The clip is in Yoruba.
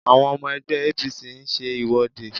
Àwọn ọmọ ẹgbẹ́ APC ń ṣe ìwọ́de